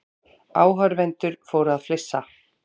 Áhorfendur fóru að flissa.